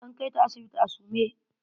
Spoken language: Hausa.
An kaita sibiti a sume.